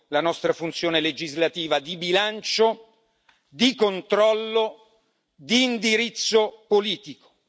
la nostra funzione legislativa di bilancio, di controllo e di indirizzo politico.